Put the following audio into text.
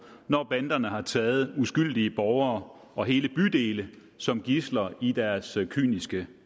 når banderne har taget uskyldige borgere og hele bydele som gidsler i deres kyniske